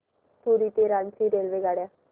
पुरी ते रांची रेल्वेगाड्या